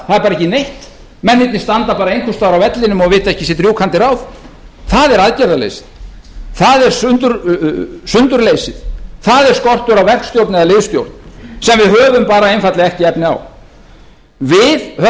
er ekki neinn menn virðast bara standa einhvers staðar á vellinum og vita ekki sitt rjúkandi ráð það er aðgerðarleysið það er sundurleysið það er skortur á verkstjórn eða liðsstjórn sem við höfum einfaldlega ekki efni á við höfum